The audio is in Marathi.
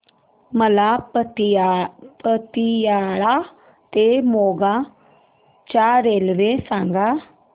मला पतियाळा ते मोगा च्या रेल्वे सांगा